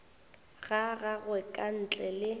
ga gagwe ka ntle le